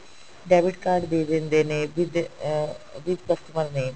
debit card ਦੇ ਦਿੰਦੇ ਨੇ with uh with customer name